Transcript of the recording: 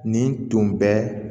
Nin tun bɛ